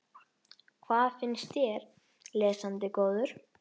Hvað finnst þér, lesandi góður?